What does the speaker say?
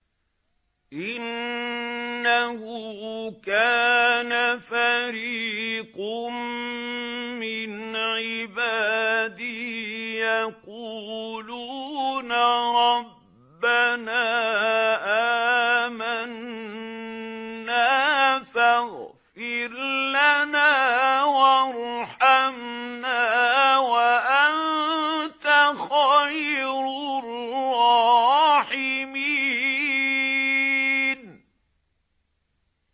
إِنَّهُ كَانَ فَرِيقٌ مِّنْ عِبَادِي يَقُولُونَ رَبَّنَا آمَنَّا فَاغْفِرْ لَنَا وَارْحَمْنَا وَأَنتَ خَيْرُ الرَّاحِمِينَ